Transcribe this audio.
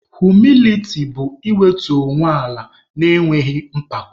Humiliti bụ iwetu onwe ala na-enweghị mpako.